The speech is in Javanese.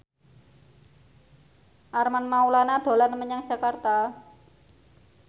Armand Maulana dolan menyang Jakarta